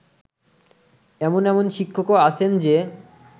এমন এমন শিক্ষকও আছেন যে